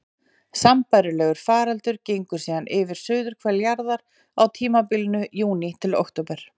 Sambærilegur faraldur gengur síðan yfir suðurhvel jarðar á tímabilinu júní til október.